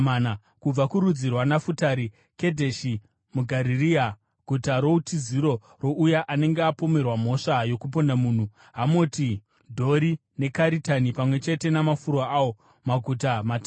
kubva kurudzi rwaNafutari, Kedheshi muGarirea (guta routiziro rouya anenge apomerwa mhosva yokuponda munhu), Hamoti Dhori neKaritani, pamwe chete namafuro awo, maguta matatu.